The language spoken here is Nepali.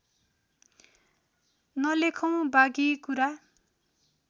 नलेखौँ बाँकी कुरा